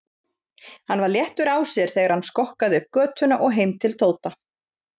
Hann var léttur á sér þegar hann skokkaði upp götuna og heim til Tóta.